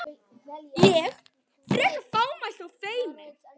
Ég, frekar fámælt og feimin.